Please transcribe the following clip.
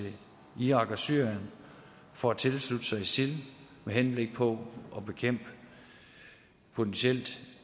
irak og syrien for at tilslutte sig isil med henblik på at bekæmpe potentielt